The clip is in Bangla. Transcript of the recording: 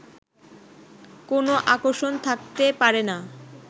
কোনো আকর্ষণ থাকতে পারে না